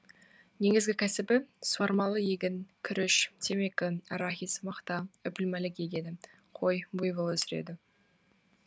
негізгі кәсібі суармалы егін күріш темекі арахис мақта үпілмәлік егеді қой буйвол өсіреді